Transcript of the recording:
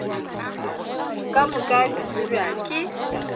ka moka di tsebja ke